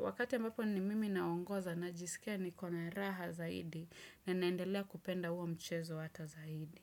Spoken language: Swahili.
wakati ambapo ni mimi naongoza najisikia niko na raha zaidi na naendelea kupenda uo mchezo hata zaidi.